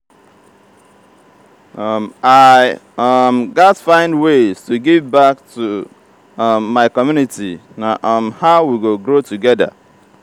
i um gats find ways to give back um to my community; na um how we go grow together.